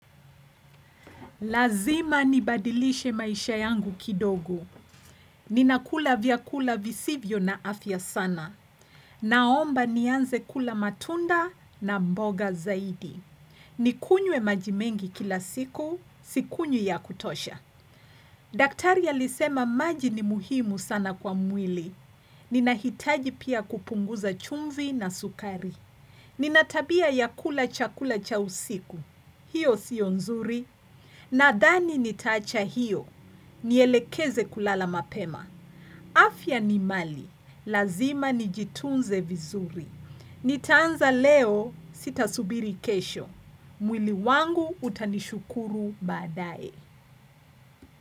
Lazima nibadilishe maisha yangu kidogo. Ninakula vyakula visivyo na afya sana. Naomba nianze kula matunda na mboga zaidi. Nikunywe maji mengi kila siku, sikunywi ya kutosha. Daktari alisema maji ni muhimu sana kwa mwili. Ninahitaji pia kupunguza chumvi na sukari. Nina tabia ya kula chakula cha usiku. Hiyo siyo nzuri. Nadhani nitaacha hiyo. Nielekeze kulala mapema. Afya ni mali. Lazima nijitunze vizuri. Nitaanza leo sitasubiri kesho. Mwili wangu utanishukuru baadaye.